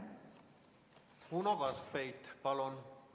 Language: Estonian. Uno Kaskpeit, palun!